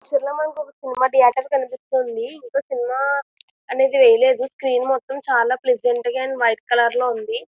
ఈ చిత్రంలో మనకి సినిమా ధియేటర్ కనిపిస్తుంది. ఇంకా సినిమా అనేది వేయలేదు. స్క్రీన్ మొత్తం చాలా ప్లసెంట్ గా అండ్ వైట్ కలర్ లో ఉంది.